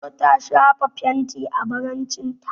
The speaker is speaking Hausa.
Indo ta shafa fenti a farcen ta.